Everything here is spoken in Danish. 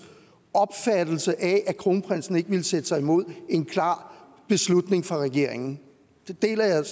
opfattelse af at kronprinsen ikke ville sætte sig imod en klar beslutning fra regeringen den deler jeg